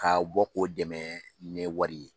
Ka bɔ k'o dɛmɛ ni wari ye.